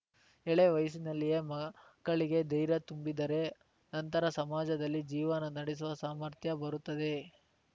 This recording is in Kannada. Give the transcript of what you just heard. ಎಳೆಯ ವಯಸ್ಸಿನಲ್ಲಿಯೇ ಮಕ್ಕಳಿಗೆ ಧೈರ್ಯ ತುಂಬಿದರೆ ನಂತರ ಸಮಾಜದಲ್ಲಿ ಜೀವನ ನಡೆಸುವ ಸಾಮಾರ್ಥ್ಯ ಬರುತ್ತದೆ